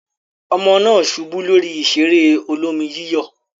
Ọmọ náà ṣubú lórí ìṣeré olómi-yíyọ̀.